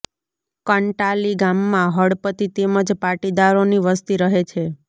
કંટાલી ગામમાં હળપતિ તેમ જ પાટીદારોની વસ્તી રહે છે